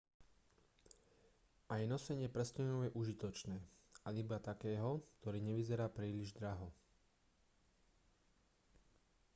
aj nosenie prsteňa je užitočné ale iba takého ktorý nevyzerá príliš draho